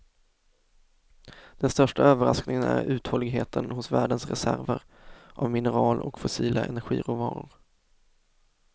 Den största överraskningen är uthålligheten hos världens reserver av mineral och fossila energiråvaror.